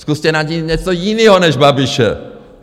Zkuste najít něco jiného než Babiše!